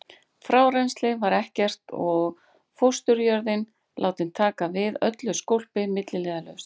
Frárennsli var ekkert og fósturjörðin látin taka við öllu skólpi milliliðalaust.